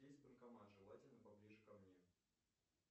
есть банкомат желательно поближе ко мне